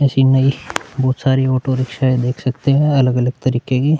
ऐसी नई बहुत सारी ऑटो रिक्शाऐं देख सकते है अलग-अलग तरीके की --